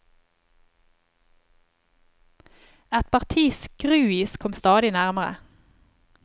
Et parti skruis kom stadig nærmere.